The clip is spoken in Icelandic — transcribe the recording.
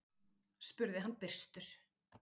spurði hann byrstur.